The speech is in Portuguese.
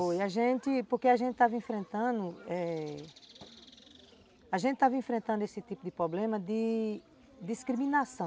Foi, a gente... porque a gente estava enfrentando eh... A gente estava enfrentando esse tipo de problema de discriminação.